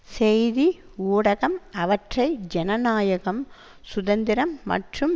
செய்தி ஊடகம் அவற்றை ஜனநாயகம் சுதந்திரம் மற்றும்